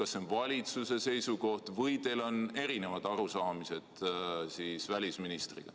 Kas see on valitsuse seisukoht või on teil välisministriga erinevad arusaamised?